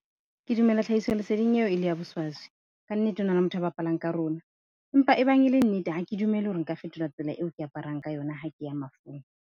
Ke dumela tlhahisoleseding eo e le ya boswaswi. Ka nnete ho na le motho ya bapalang ka rona empa e bang e le nnete, ha ke dumele hore nka fetola tsela eo ke aparang ka yona, ha ke ya mafung.